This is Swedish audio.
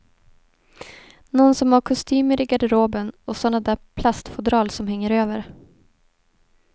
Någon som har kostymer i garderoben och såna där plastfodral som hänger över.